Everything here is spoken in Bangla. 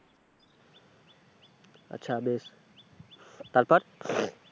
আচ্ছা বেশ তারপর,